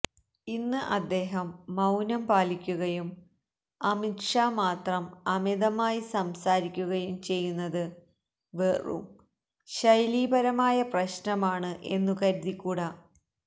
ഇന്ന് അദ്ദേഹം മൌനം പാലിക്കുകയും അമിത് ഷാ മാത്രം അമിതമായി സംസാരിക്കുകയും ചെയ്യുന്നത് വെറും ശൈലീപരമായ പ്രശ്നമാണ് എന്നു കരുതിക്കൂട